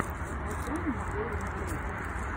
открой мне лорен грэй